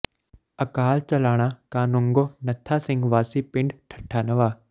ਅਕਾਲ ਚਲਾਣਾ ਕਾਨੂੰਗੋ ਨੱਥਾ ਸਿੰਘ ਵਾਸੀ ਪਿੰਡ ਠੱਟਾ ਨਵਾਂ